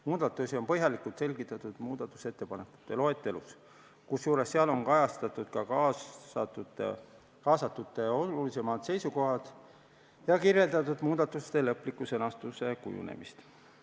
Muudatusi on põhjalikult selgitatud muudatusettepanekute loetelus, kusjuures seal on kajastatud ka kaasatute olulisemad seisukohad ja kirjeldatud muudatuste lõpliku sõnastuse kujunemist.